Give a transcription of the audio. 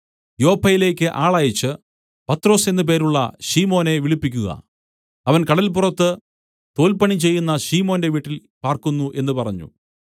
യോപ്പയിലേക്ക് ആളയച്ച് പത്രൊസ് എന്നു പേരുള്ള ശിമോനെ വിളിപ്പിക്കുക അവൻ കടല്പുറത്ത് തോൽപ്പണി ചെയ്യുന്ന ശീമോന്റെ വീട്ടിൽ പാർക്കുന്നു എന്നു പറഞ്ഞു